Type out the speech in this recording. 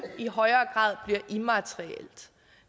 i højere grad bliver immaterielt